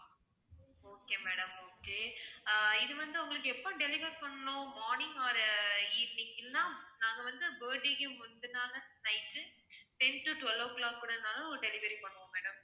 okay madam okay ah இது வந்து உங்களுக்கு எப்ப deliver பண்ணனும் morning or evening இல்லேன்னா நாங்க வந்து birthday க்கு முந்தின நாள் night ten to twelve o'clock கூடனாலும் delivery பண்ணுவோம் madam